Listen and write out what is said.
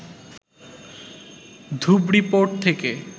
Dhubri port থেকে